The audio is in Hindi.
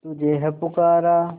तुझे है पुकारा